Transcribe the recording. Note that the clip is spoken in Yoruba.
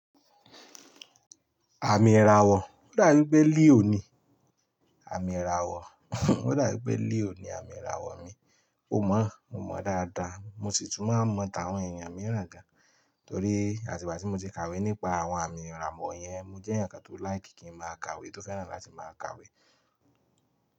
Àmì ìràwọ̀, ó dà bi pé Leo ni àmì ìràwọ̀, ó dà mí pé Leo ni àmì ìràwọ̀ mi. Mo mọ́, mo mọ̀ dáadáa, mo sì tún máa mọ̀ ta àwọn èèyàn mìíràn gan torí àtìbàtí mo ti kàwé nípa àwọn àmì ìràmọ̀ yẹn, mo jẹ́ ǹkan tó like kí n máa kàwé, tó fẹ́ràn láti máa kàwé.